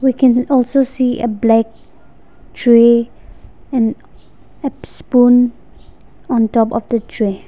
we can also see a black tray and ap-spoon on top of the tray.